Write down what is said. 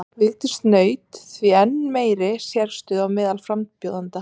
Vigdís naut því enn meiri sérstöðu á meðal frambjóðenda.